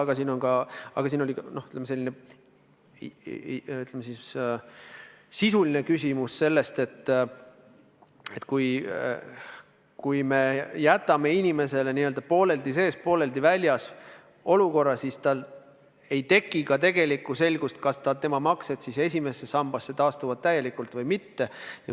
Aga mängus oli ka, ütleme siis, sisuline küsimus, et kui me jätame inimese n-ö pooleldi sees, pooleldi väljas olukorda, siis tal ei teki tegelikku selgust, kas tema maksed esimesse sambasse taastuvad täielikult või mitte.